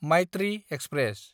Maitri express